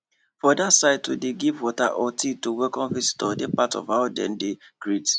for that sideto dey give water or tea to welcome visitor dey part of how dem dey greet